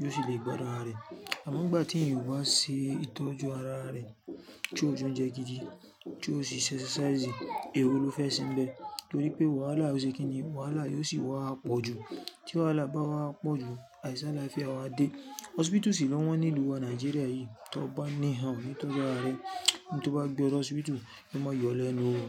yóò sì lè gbadun ara rẹ. Àmọ́ nigba tí eyan ba ṣe ìtọ́jú ara rẹ tí ó jẹ oúnjẹ gidi, tí ó ṣi se exercise, èwo ló fẹ́ sen bẹ̀ẹ́? Torí pé wàhálà ò ṣe kíni, wàhálà yóò sì wá pọ̀ jù. Tí wàhálà bá wá pọ̀ jù, àìsi alaafiá wá dé. Hospital sì lọ́wọ́n ní ìlú wa Nàìjíríà yìí, tí o bá ní han o ní tọ́jú ara rẹ, in to bá gbe ọ de hospital, yo má yọlẹ́ nu o.